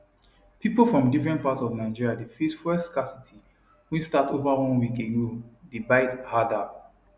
pipo from different parts of nigeria dey face fuel scarcity wey start over one week ago dey bite harder